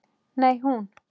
Nei, hún.